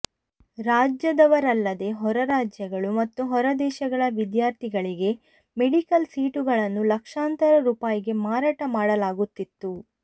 ರಾಜ್ಯದವರಲ್ಲದೇ ಹೊರ ರಾಜ್ಯಗಳು ಮತ್ತು ಹೊರ ದೇಶಗಳ ವಿದ್ಯಾರ್ಥಿಗಳಿಗೆ ಮೆಡಿಕಲ್ ಸೀಟುಗಳನ್ನು ಲಕ್ಷಾಂತರ ರೂಪಾಯಿಗೆ ಮಾರಾಟ ಮಾಡಲಾಗುತ್ತಿತ್ತು